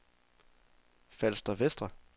Falster Vestre